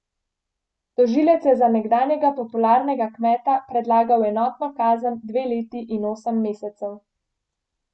Tožilec je za nekdanjega popularnega kmeta predlagal enotno kazen dve leti in osem mesecev.